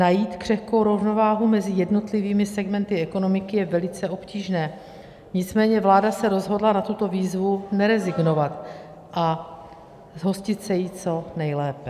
Najít křehkou rovnováhu mezi jednotlivými segmenty ekonomiky je velice obtížné, nicméně vláda se rozhodla na tuto výzvu nerezignovat a zhostit se jí co nejlépe.